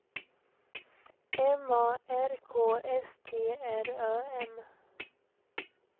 M A R K S T R Ö M